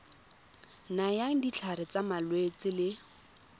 nayang ditlhare tsa malwetse le